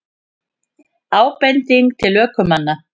Ábending til ökumanna